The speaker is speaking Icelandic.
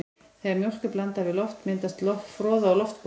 Þegar mjólk er blandað við loft myndast froða úr loftbólum.